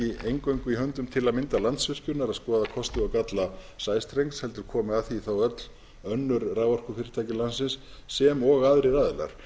eingöngu í höndum til að mynda landsvirkjunar að skoða kosti og galla sæstrengs heldur komi að því þá öll önnur raforkufyrirtæki landsins sem og aðrir aðilar